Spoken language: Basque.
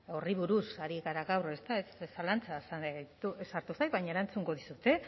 horri buruz ari gara gaur ezta zalantza sartu zait baina erantzungo dizut